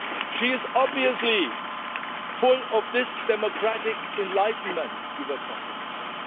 She is obviously full of this democratic enlightenment you were talking about.